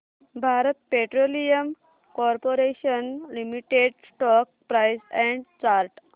Bharat petroleum corporation limited stock price and chart